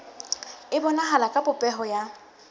e bonahala ka popeho ya